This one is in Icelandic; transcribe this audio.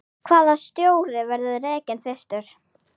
Hvaða stjóri verður rekinn fyrstur?